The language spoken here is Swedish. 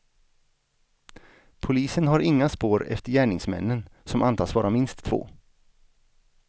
Polisen har inga spår efter gärningsmännen som antas vara minst två.